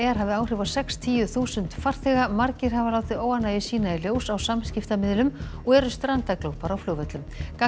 hafi áhrif á sextíu þúsund farþega margir hafa látið óánægju sína í ljós á samskiptamiðlum og eru strandaglópar á flugvöllum